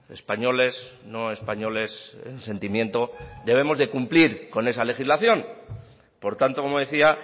españoles no españoles en sentimiento debemos de cumplir con esa legislación por tanto como decía